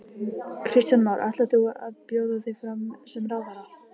Kristján Már: Ætlar þú að bjóða þig fram sem ráðherra?